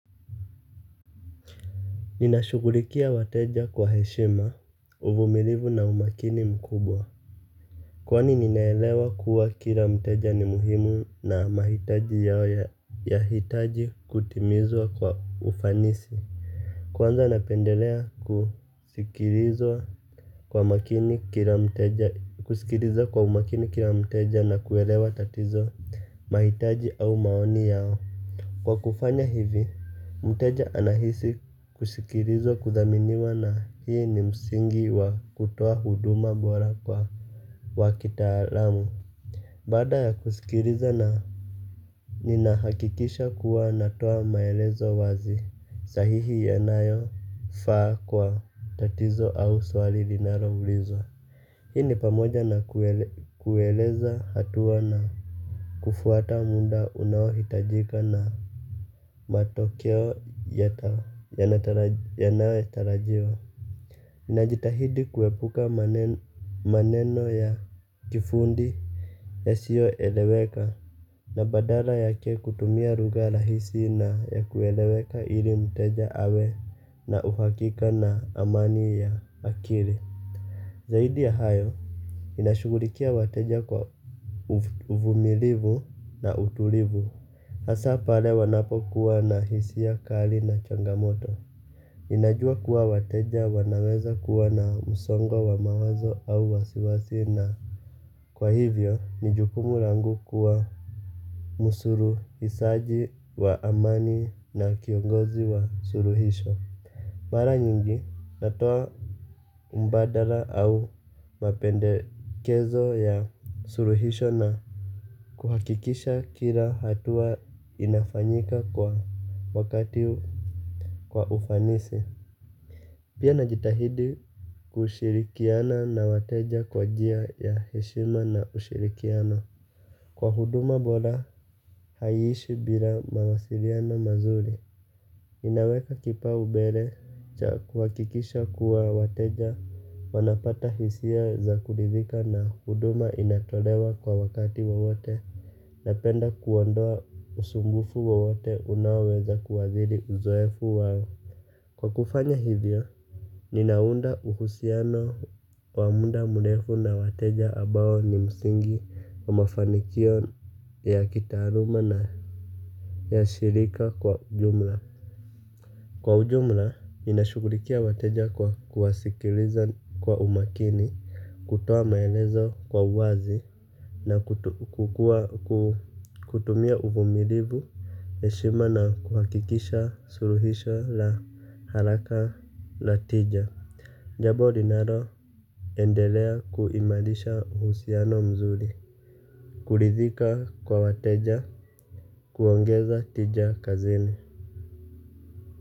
Ninashughulikia wateja kwa heshima, uvumilivu na umakini mkubwa kwani ninaelewa kuwa kila mteja ni muhimu na mahitaji yao yanahitaji kutimizwa kwa ufanisi kwanza napendelea kusikiliza kwa makini kila mteja kusikiliza kwa umakini mteja na kuelewa tatizo mahitaji au maoni yao kwa kufanya hivi, mteja anahisi kusikilizwa kudhaminiwa na hii ni msingi wa kutoa huduma bora kwa wakitaramu baada ya kusikiliza na nina hakikisha kuwa natoa maelezo wazi sahihi yanayo faa kwa tatizo au swali linaloulizwa hii ni pamoja na kueleza hatuwa na kufuata muda unaohitajika na matokeo yanayo tarajiwa najitahidi kuepuka maneno ya kifundi ya sio eleweka na badala yake kutumia lugha rahisi na ya kueleweka ili mteja awe na uhakika na amani ya akili zaidi ya hayo, ninashughulikia wateja kwa uvumilivu na utulivu hasa pale wanapokuwa na hisia kali na changamoto ninajua kuwa wateja wanaweza kuwa na msongo wa mawazo au wasiwasi na kwa hivyo, ni jukumu langu kuwa msuluhishaji wa amani na kiongozi wa suluhisho mara nyingi, natoa mbadala au mapendekezo ya suluhisho na kuhakikisha kila hatua inafanyika kwa wakati kwa ufanisi pia na jitahidi kushirikiana na wateja kwa njia ya heshima na ushirikiano kwa huduma bora haishi bila mawasiliana mazuri. Inaweka kipau mbele cha kuhakikisha kuwa wateja wanapata hisia za kuridhika na huduma inatolewa kwa wakati wowote napenda kuondoa usumbufu wowote unaweza kuadhiri uzoefu wao kwa kufanya hivyo, ninaunda uhusiano kwa muda mrefu na wateja ambao ni msingi wa mafanikio ya kitaaluma na ya shirika kwa ujumla kwa ujumla, nina shughulikia wateja kwa kuwasikiliza kwa umakini, kutoa maelezo kwa uwazi na kutumia uvumilivu, heshima na kuhakikisha suluhisha la haraka la tija jambo linalo endelea kuimarisha uhusiano mzuri kuridhika kwa wateja, kuongeza tija kazini.